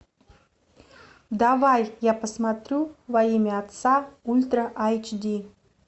давай я посмотрю во имя отца ультра эйч ди